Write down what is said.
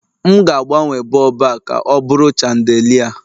M ga-agbanwe bọlbụ a ka ọ bụrụ chandelier